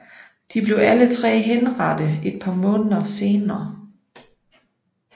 De blev alle tre henrettet et par måneder senere